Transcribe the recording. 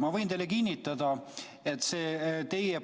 Ma võin teile kinnitada, et see teie